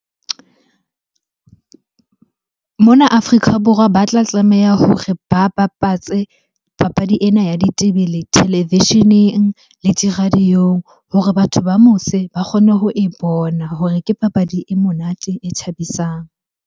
Mona Afrika Borwa ba tla tlameha hore ba bapatse papadi ena ya ditebele televisheneng le di-radio-ong hore batho ba mose ba kgone ho e bona hore ke papadi e monate, e thabisang.